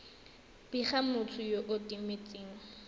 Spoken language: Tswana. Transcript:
bega motho yo o timetseng